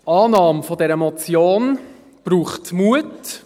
Die Annahme dieser Motion braucht Mut.